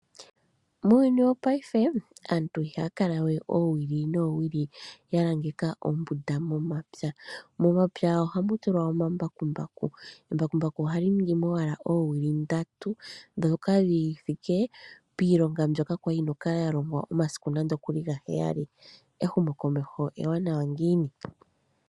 Muuyuni wo payife aantu iha kala we owili nowili yalangeka ombunda momapya . Momapya ohamu tulwa omambakumbaku. Embakumbaku ohali ningimo owala owili ndatu dhoka dhi thike pilonga mbwoka yali yina oku kala ya longwa omasiku nando okuli ga heyali , ehumo komeho ewanawa ngiini .